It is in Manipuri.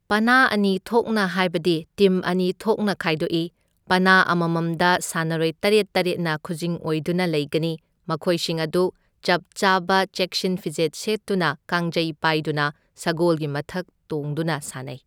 ꯄꯥꯅꯥ ꯑꯅꯤꯊꯣꯛꯅ ꯍꯥꯏꯕꯗꯤ ꯇꯤꯝ ꯑꯅꯤꯊꯣꯛꯅ ꯈꯥꯏꯗꯣꯛꯏ ꯄꯥꯅꯥ ꯑꯃꯃꯝꯗ ꯁꯥꯟꯅꯔꯣꯏ ꯇꯔꯦꯠ ꯇꯔꯦꯠꯅ ꯈꯨꯖꯤꯡ ꯑꯣꯏꯗꯨꯅ ꯂꯩꯒꯅꯤ ꯃꯈꯣꯏꯁꯤꯡ ꯑꯗꯨ ꯆꯞ ꯆꯥꯕ ꯆꯦꯛꯁꯤꯟ ꯐꯤꯖꯦꯠ ꯁꯦꯠꯇꯨꯅ ꯀꯥꯡꯖꯩ ꯄꯥꯏꯗꯨꯅ ꯁꯒꯣꯜꯒꯤ ꯃꯊꯛ ꯇꯣꯡꯗꯨꯅ ꯁꯥꯟꯅꯩ꯫